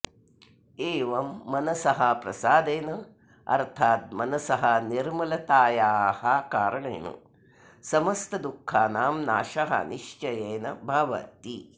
एवं मनसः प्रसादेन अर्थाद् मनसः निर्मलतायाः कारणेन समस्तदुःखानां नाशः निश्चयेन भवति